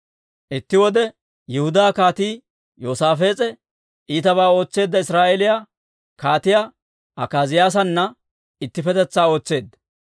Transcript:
Itti wode, Yihudaa Kaatii Yoosaafees'e iitabaa ootseedda Israa'eeliyaa Kaatiyaa Akaaziyaasana ittippetetsaa ootseedda.